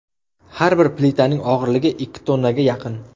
Har bir plitaning og‘irligi ikki tonnaga yaqin.